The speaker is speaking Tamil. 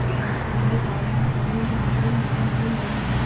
என் உள்ள தாய்லாந்து பதினொன்று ஆண்டுகளில் மந்ந நிலையை முதல்முறையாக